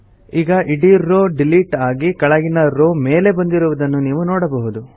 ಈಗ ಇಡೀ row delete ಆಗಿ ಕೆಳಗಿನ ರೋವ್ ಮೇಲೆ ಬಂದಿರುವುದನ್ನು ನೀವು ನೋಡಬಹುದು